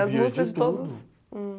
Eu ouvia de tudo. As músicas de todas